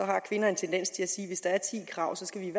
har kvinder en tendens til at sige at hvis der er ti krav skal vi